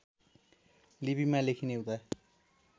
लिपिमा लेखिने हुँदा